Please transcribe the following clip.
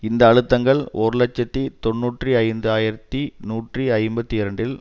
இந்த அழுத்தங்கள் ஒரு இலட்சத்தி தொன்னூற்றி ஐந்து ஆயிரத்தி நூற்றி ஐம்பத்தி இரண்டில்